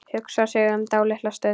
Hugsar sig um dálitla stund.